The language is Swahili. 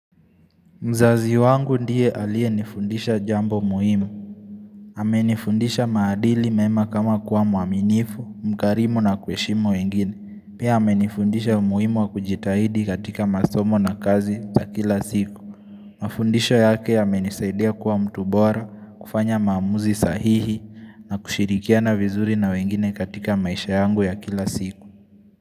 Mzazi wangu ndiye aliye nifundisha jambo muhimu. Ame nifundisha maadili mema kama kuwa mwaminifu, mkarimu na kuheshimu wengine. Pia ame nifundisha muhimu wa kujitahidi katika masomo na kazi za kila siku. Mafundisho yake yame nisaidia kuwa mtu bora, kufanya maamuzi sahihi, na kushirikiana vizuri na wengine katika maisha yangu ya kila siku.